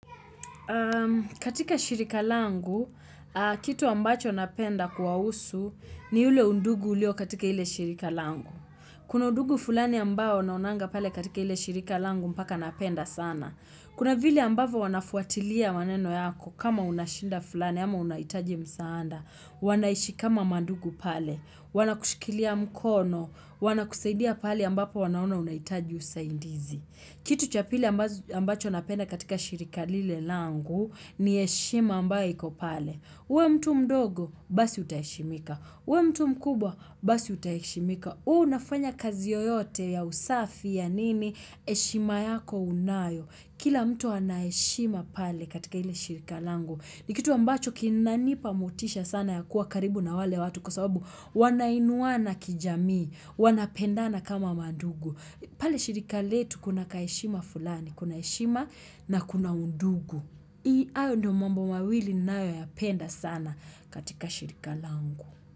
Katika shirika langu, kitu ambacho napenda kwa usu ni ule undugu ulio katika ile shirika langu. Kuna undugu fulani ambao naonanga pale katika ile shirika langu mpaka napenda sana. Kuna vile ambavyo wanafuatilia maneno yako kama unashida fulani ama unahitaji msaada. Wanaishi kama mandugu pale. Wana kushikilia mkono. Wana kusaidia pale ambapo wanaona unahitaji usaidizi. Kitu cha pili ambacho napenda katika shirika lile langu ni heshima ambayo ikopale. Uwe mtu mdogo, basi utaheshimika. Uwe mtu mkubwa, basi utaishimika. Uwe unafanya kazi yoyote ya usafi ya nini, heshima yako unayo. Kila mtu anayheshima pale katika ile shirika langu. Ni kitu ambacho kinanipa motisha sana ya kuwa karibu na wale watu kwa sababu wanainuana kijamii, wanapendana kama mandugu. Pale shirika letu kuna kaheshima fulani, kunaheshima na kuna undugu. Hayo ndio mambo mawili ninayo ya penda sana katika shirika langu.